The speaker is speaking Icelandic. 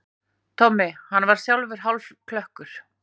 Tommi, hann var sjálfur hálfklökkur.